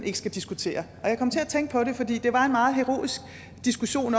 ikke skal diskutere og jeg kom til at tænke på det fordi det var en meget heroisk diskussion